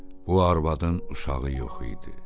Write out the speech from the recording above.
Bu arvadın uşağı yox idi.